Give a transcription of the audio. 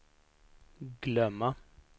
glömma